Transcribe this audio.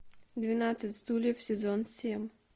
двенадцать стульев сезон семь